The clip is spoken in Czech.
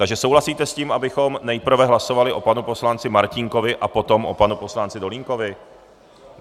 Takže souhlasíte s tím, abychom nejprve hlasovali o panu poslanci Martínkovi, a potom o panu poslanci Dolínkovi?